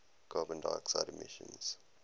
carbon dioxide emissions